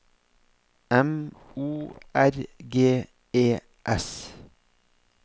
M O R G E S